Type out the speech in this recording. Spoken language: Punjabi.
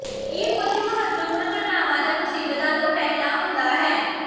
ਇਹ ਕੁਝ ਮਹੱਤਵਪੂਰਣ ਘਟਨਾਵਾਂ ਜਾਂ ਮੁਸੀਬਤਾਂ ਤੋਂ ਪਹਿਲਾਂ ਹੁੰਦਾ ਹੈ